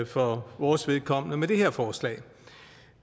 for vores vedkommende med det her forslag